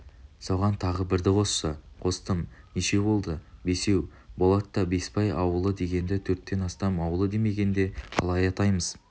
соған тағы бірді қосшы қостым нешеу болды бесеу болат та бесбай ауылы дегенді төрттен астам ауылы деме генде қалай атаймыз